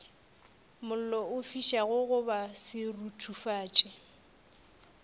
mollo o fišago goba seruthufatši